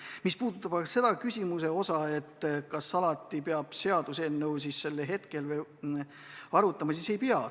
Mis puudutab aga seda, kas alati peab seaduseelnõu arutama siis, kui teema on aktuaalne, siis vastan, et ei pea.